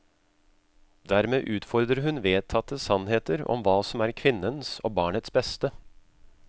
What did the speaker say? Dermed utfordrer hun vedtatte sannheter om hva som er kvinnens og barnets beste.